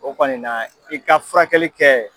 O kɔni na f'i ka furakɛli kɛ